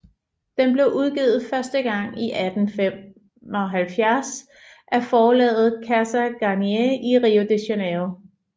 Den blev udgivet første gang i 1875 af forlaget Casa Garnier i Rio de Janeiro